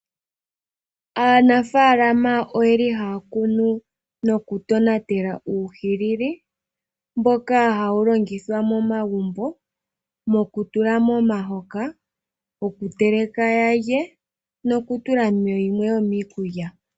Aanafaalama ohaya kunu nokutonatela uuhilili mboka hawu longithwa momagumbo, mokutula momahoka, okuteleka ya lye nokutula mu yimwe yomiikulya.